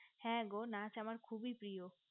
হ্যা গো নাচ আমার খুবি ভালো লাগে